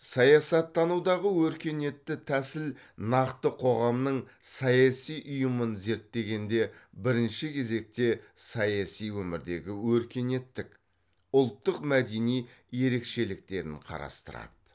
саясаттанудағы өркениетті тәсіл нақты қоғамның саяси ұйымын зерттегенде бірінші кезекте саяси өмірдегі өркениеттік ұлттық мәдени ерекшеліктерін қарастырады